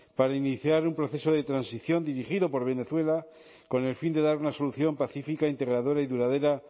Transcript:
para iniciar un proceso de transición dirigido por venezuela con el fin de dar una solución pacífica integradora y duradera